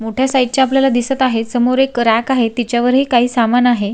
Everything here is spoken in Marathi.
मोठ्या साइज चे आपल्याला दिसत आहे समोर एक रॅक आहे त्याच्यावर ही काही सामान आहे.